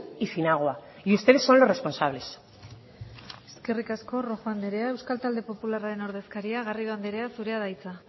y sin agua y ustedes son los responsables eskerrik asko rojo andrea euskal talde popularraren ordezkaria garrido anderea zurea da hitza